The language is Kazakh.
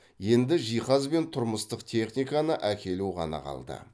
енді жиһаз бен тұрмыстық техниканы әкелу ғана қалды